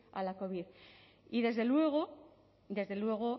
a la covid y desde luego desde luego